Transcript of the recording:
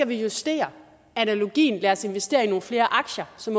vi justere analogien lad os investere i nogle flere aktier som